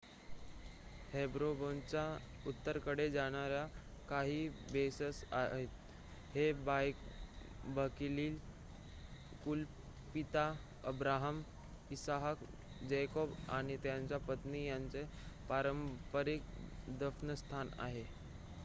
हेब्रोनच्या उत्तरेकडे जाणाऱ्या काही बसेस आहेत हे बायबलीकल कुलपिता अब्राहम इसहाक जॅकोब आणि त्यांच्या पत्नी यांचे पारंपारिक दफनस्थान आहे